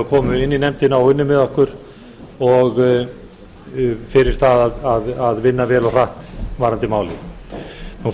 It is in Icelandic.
og komu inn í nefndina og unnu með okkur fyrir það að vinna vel og hratt varðandi málið